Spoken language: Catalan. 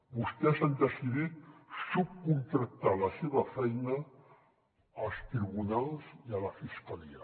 vostès han decidit subcontractar la seva feina als tribunals i a la fiscalia